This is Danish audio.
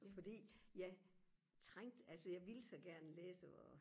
fordi jeg trængte altså jeg ville så gerne læse og